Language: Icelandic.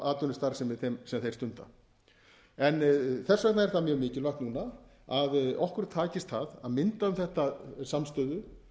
atvinnustarfsemi sem þeir stunda þess vegna er það mjög mikilvægt núna að okkur takist að mynda um þetta samstöðu